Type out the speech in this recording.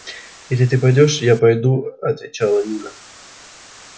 если ты пойдёшь я пойду отвечала нина